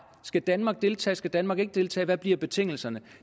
skal danmark deltage skal danmark ikke deltage hvad bliver betingelserne